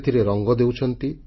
ସେଥିରେ ରଙ୍ଗ ଦେଉଛନ୍ତି